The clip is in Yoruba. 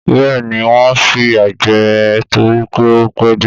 Bẹ́ẹ̀ ni, wọ́n fìyà jẹ ẹ́ torí pé ó pẹ́ dé.